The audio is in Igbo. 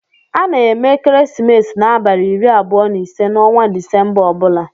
A na-eme ekeresimesi n'abalị iri abụọ na ise n'ọnwa Disemba ọ bụla.